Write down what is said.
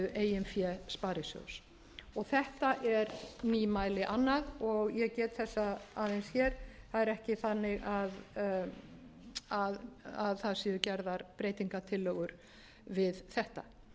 eigin fé sparisjóðs þetta er nýmæli annað og ég get þessa aðeins hér það er ekki þannig að það séu gerðar breytingartillögu við þetta